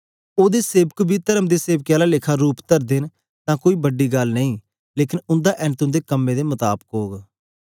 एस लेई जेकर ओदे सेवक बी तर्म दे सेवकें आला रूप तरदे न तां कोई बड़ी गल्ल नेई लेकन उन्दा ऐन्त उन्दे कम्में दे मताबक ओग